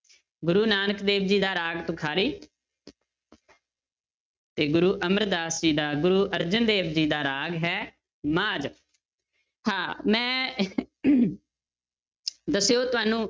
ਗੁਰੂ ਨਾਨਕ ਦੇਵ ਜੀ ਦਾ ਰਾਗ ਤੁਖਾਰੀ ਤੇ ਗੁਰੂ ਅਮਰਦਾਸ ਜੀ ਦਾ, ਗੁਰੂ ਅਰਜਨ ਦੇਵ ਜੀ ਦਾ ਰਾਗ ਹੈ ਮਾਝ, ਹਾਂ ਮੈਂ ਦੱਸਿਓ ਤੁਹਾਨੂੰ